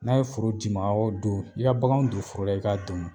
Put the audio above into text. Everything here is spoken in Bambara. N'a ye foro di ma, awɔ don i ka bakanw don foro la, i ka domu.